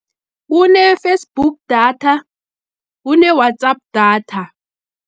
Kune-Facebook data, kune-WhatsApp data.